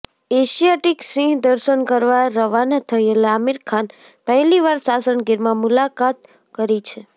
Asiatic સિંહ દર્શન કરવાં રવાના થયેલ આમીર ખાન પહેલીવાર સાસણ ગીરમાં મુલાકાત કરી છે